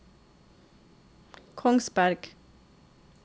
Kongsberg